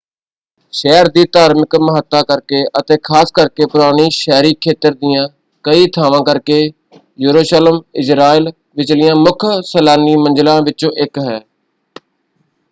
ਸ਼ਹਿਰ ਦੀ ਧਾਰਮਿਕ ਮਹਤੱਤਾ ਕਰਕੇ ਅਤੇ ਖ਼ਾਸ ਕਰਕੇ ਪੁਰਾਣੇ ਸ਼ਹਿਰੀ ਖੇਤਰ ਦੀਆਂ ਕਈ ਥਾਂਵਾਂ ਕਰਕੇ ਯਰੂਸ਼ਲਮ ਇਜ਼ਰਾਈਲ ਵਿਚਲੀਆਂ ਮੁੱਖ ਸੈਲਾਨੀ ਮੰਜ਼ਿਲਾਂ ਵਿੱਚੋਂ ਇੱਕ ਹੈ।